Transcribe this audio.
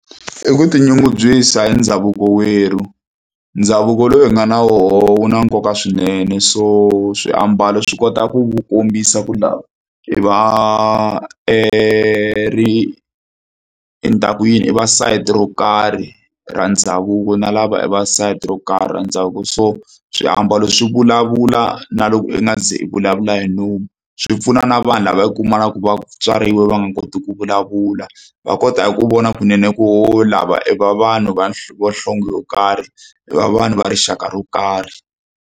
I ku tinyungubyisa hi ndhavuko wa werhu ndhavuko lowu hi nga na wona wu na nkoka swinene so swiambalo swi kota ku kombisa ku lava i va ri nta ku yini i va sayiti ro karhi ra ndhavuko na lava i va sayiti ro karhi ra ndhavuko so swiambalo swi vulavula na loko i nga ze i vulavula hi nomu swi pfuna na vanhu lava i kumakaka va tswariwe va nga koti ku vulavula va kota ku vona kunene ku oho lava i va vanhu vanhlonge yo karhi i va vanhu va rixaka ro karhi.